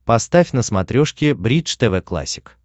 поставь на смотрешке бридж тв классик